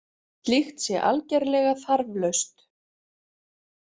Slíkt sé algerlega þarflaust